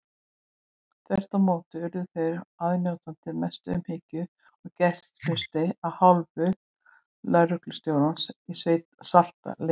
Þvert á móti urðu þeir aðnjótandi mestu umhyggju og gestrisni af hálfu lögreglustjórans og svartliðsins.